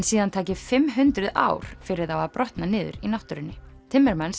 síðan taki fimm hundruð ár fyrir þá að brotna niður í náttúrunni